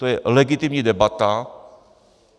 To je legitimní debata.